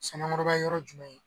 SANAƆBA ye yɔrɔ jumɛn ye.